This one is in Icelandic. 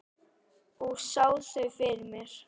Og sá þau fyrir mér.